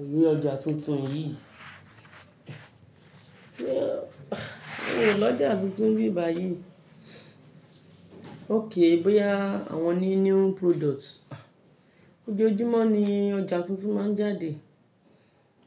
Òye ọjà tuntun yìí. Miò l'ọ́jà tuntun níbì báyìí? Okay bóyá àwọn new new products. Ojoojúmọ́ ni ọjà tuntun má ń jáde.